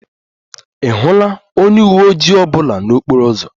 Ị hụla onye uwe ojii ọ bụla n'okporo ụzọ?